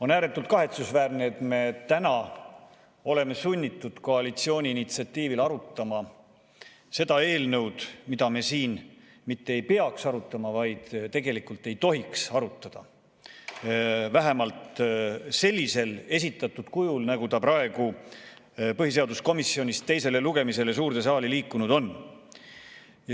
On ääretult kahetsusväärne, et me täna oleme sunnitud koalitsiooni initsiatiivil arutama seda eelnõu, mida me siin mitte ainult et ei peaks arutama, vaid tegelikult ei tohiks arutada, vähemalt mitte sellisel esitatud kujul, nagu ta põhiseaduskomisjonist teisele lugemisele suurde saali liikunud on.